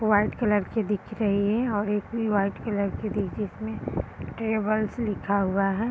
White colour के दिख रही है और एक भी वाइट की जिसमें ट्रेवल्स लिखा हुआ है।